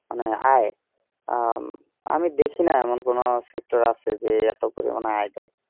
মানে আয় হম আমি দেখি না এমন কোন sector আছে যে এত পরিমানে আয় দেয়